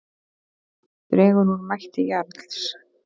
Dregur úr mætti Jarls